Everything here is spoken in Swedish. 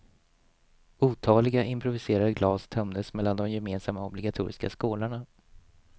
Otaliga improviserade glas tömdes mellan de gemensamma, obligatoriska skålarna.